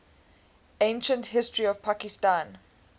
ancient history of pakistan